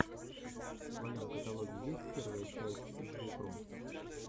в твоем каталоге есть первая часть звукру